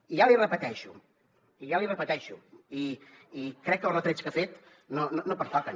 i ja l’hi repeteixo i ja l’hi repeteixo i crec que els retrets que ha fet no pertoquen